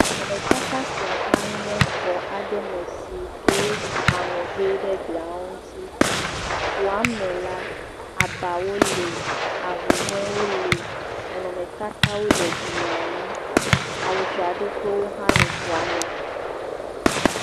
Nɔnɔmetata sia hã nye xɔ aɖe me si ke wosi aŋɔ he ɖe glia ŋuti, xa me la abawo le ahuhɔewo le nɔnɔmetatawo le glia ŋu, awy dzraɖo ƒe wo le xɔa me.